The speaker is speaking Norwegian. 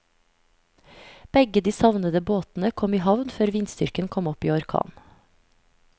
Begge de savnede båtene kom i havn før vindstyrken kom opp i orkan.